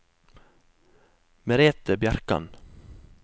Merethe Bjerkan